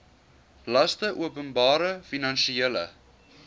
laste openbare finansiële